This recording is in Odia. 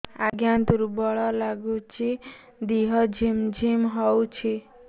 ଆଜ୍ଞା ଦୁର୍ବଳ ଲାଗୁଚି ଦେହ ଝିମଝିମ ହଉଛି